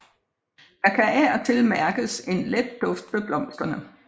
Der kan af og til mærkes en let duft ved blomsterne